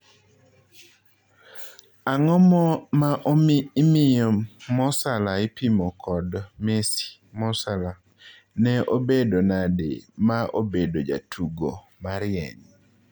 Ang'o ma imiyo Mo Salah ipimo kod Messi Mo Salah:Ne obedo nade ma obedo jatugo marieny?